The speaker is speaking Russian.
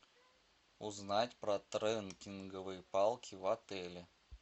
узнать про трекинговые палки в отеле